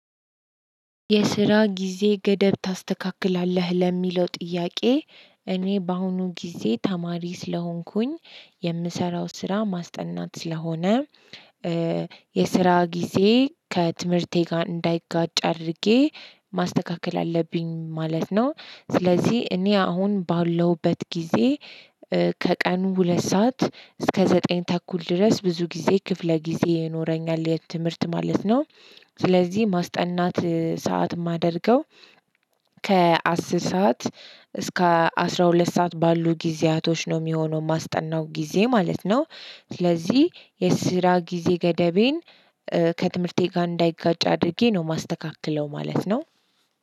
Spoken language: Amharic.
የስራ ጊዜ ገደብ ታስተካክላለህ? ለሚለው ጥያቄ እኔ በአሁኑ ጊዜ ተማሪ ስለሆንኩኝ የምሰራው ስራ ማስጠናት ስለሆነ የስራ ጊዜ ከትምህርቴ ጋር እንዳይጋጭ አድርጌ ማስተካከል አለብኝ ማለት ነው። ስለዚህ እኔ አሁን ባለውበት ጊዜ ከቀኑ ሁለት ሰዓት እስከ ዘጠኝ ተኩል ድረስ ብዙ ጊዜ ክፍለ ጊዜ ይኖረኛል፤ የት ትምህርት ማለት ነው። ስለዚህ ማስጠናት ሰዓት የማደርገው ከአስር ሰዓት እስከ አስራ ሁለት ሰዓት ባሉ ጊዜያቶች ነው የሚሆነው ማስጠናው ጊዜ ማለት ነው። ስለዚህ የስራ ጊዜ ገደቤን ከትምህርቴ ጋር እንዳይጋጭ አድርጌ ነው የማስተካክለው ማለት ነው።